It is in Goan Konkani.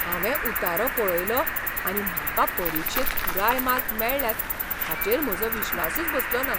हांवें उतारो पळयलो आनी म्हाका परीक्षेंत पुराय मार्क मेळ्ळ्यात हाचेर म्हजो विश्वासूच बसलोना.